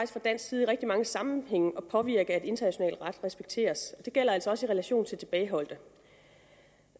fra dansk side i rigtig mange sammenhænge at påvirke at international ret respekteres det gælder altså også i relation til tilbageholdte